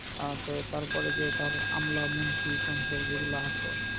আহ তো তারপরে যে তার আমলা মন্ত্রি তন্ত্র যেগুলা আছে,